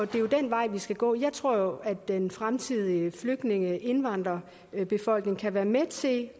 den vej vi skal gå jeg tror at den fremtidige flygtninge indvandrerbefolkning kan være med til at